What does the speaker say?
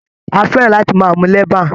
A fẹ́ràn láti máa mu leban.